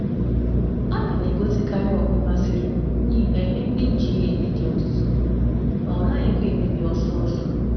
A na um m azuta na um edobe ọtụtụ ụdị ogbo m um masịrị m mgbe niile n’ihi na ha na-adịru ogologo oge n’iji ha.